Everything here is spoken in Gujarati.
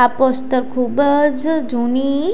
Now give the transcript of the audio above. આ પોસ્ટર ખૂબ જ જૂની